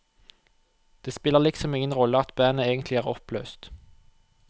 Det spiller liksom ingen rolle at bandet egentlig er oppløst.